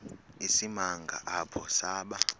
isimanga apho saba